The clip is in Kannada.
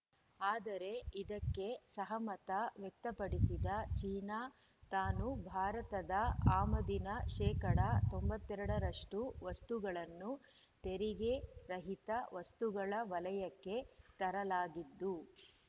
ಆದರೆ ಇದಕ್ಕೆ ಸಹಮತ ವ್ಯಕ್ತಪಡಿಸದ ಚೀನಾ ತಾನು ಭಾರತದ ಆಮದಿನ ಶೇಕಡಾ ತೊಂಬತ್ತ್ ಎರಡ ರಷ್ಟು ವಸ್ತುಗಳನ್ನು ತೆರಿಗೆ ರಹಿತ ವಸ್ತುಗಳ ವಲಯಕ್ಕೆ ತರಲಾಗಿದ್ದು